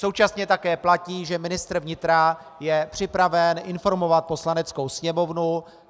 Současně také platí, že ministr vnitra je připraven informovat Poslaneckou sněmovnu.